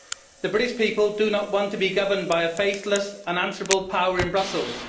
The British people do not want to be governed by a faceless, unanswerable power in Brussels.